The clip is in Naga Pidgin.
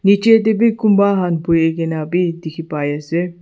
nichae tae bi kunba khan buhikae na bi dikhipaiase.